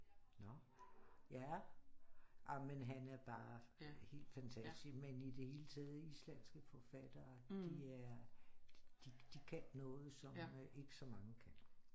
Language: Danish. Nåh ja ah men han er bare helt fantastisk men i det hele taget islandske forfattere de er de kan noget som ikke så mange kan